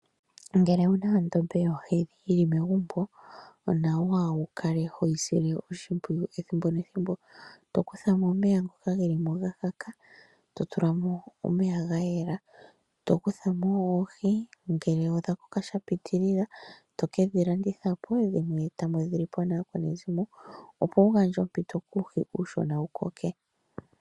Ngele wuna ondombe yohe yili megumbo, onawa wu kale hoyi sile oshimpwiyu ethimbo nethimbo. Tokutha mo omeya ngoka gelimo ga kaka. To tulamo omeya ga yela. Tokutha mo oohi ngele odha koka sha pititlila, toke dhi landithapo, dhimwe todhi lipo naakwanezimo opo wu gandje ompito kuuhi uushona wu koke.